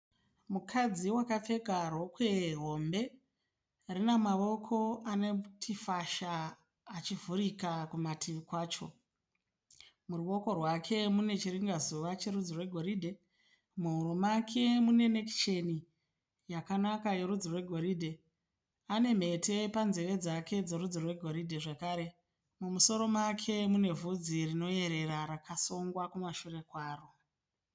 Mukadzi wakapfeka rokwe hombe. Rine maoko anoti fasha achivhurika kumativi kwacho. Muruoko rwake mune chiringazuva cherudzi rwegoridhe. Muhuro make mune nekicheni yakanaka yerudzi rwegoridhe. Ane mhete panzeve dzake dzerudzi rwegoridhe zvakare. Mumusoro make mune vhudzi rinoyerera rakasungwa kumashure kwaro.